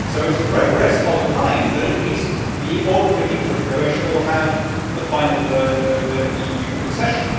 So it is progress of a kind that at least the ordinary people of Croatia will have the final word over EU accession.